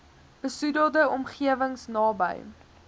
besoedelde omgewings naby